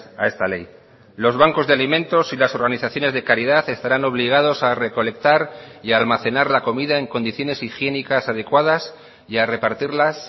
a esta ley los bancos de alimentos y las organizaciones de caridad estarán obligados a recolectar y a almacenar la comida en condiciones higiénicas adecuadas y a repartirlas